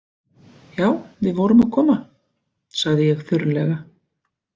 Já, við vorum að koma, sagði ég þurrlega.